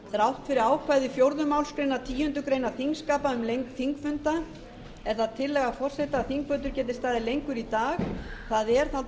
þrátt fyrir ákvæði fjórðu málsgreinar tíundu greinar þingskapa um lengd þingfunda er það tillaga forseta að þingfundur geti staðið lengur í dag það